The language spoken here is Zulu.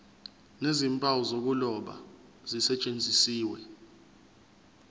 nezimpawu zokuloba zisetshenziswe